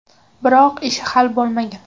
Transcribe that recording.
Biroq ishi hal bo‘lmagan.